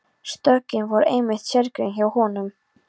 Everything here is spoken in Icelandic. Stökkin voru einmitt sérgrein hjá honum.